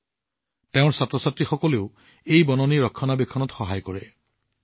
ইয়াৰ ৰক্ষণাবেক্ষণতো তেওঁৰ ছাত্ৰছাত্ৰীসকলে তেওঁক সহায় কৰে